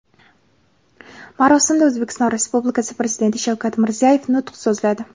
Marosimda O‘zbekiston Respublikasi Prezidenti Shavkat Mirziyoyev nutq so‘zladi.